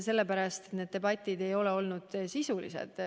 Sellepärast, et need debatid ei ole olnud sisulised.